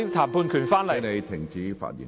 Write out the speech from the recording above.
張超雄議員，請停止發言。